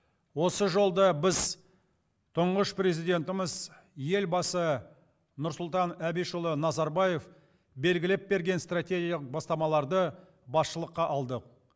осы жолда біз тұңғыш президентіміз елбасы нұрсұлтан абишұлы назарбаев белгілеп берген стратегиялық бастамаларды басшылыққа алдық